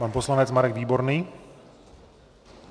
Pan poslanec Marek Výborný.